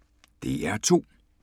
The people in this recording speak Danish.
DR2